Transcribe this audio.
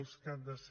els que han de ser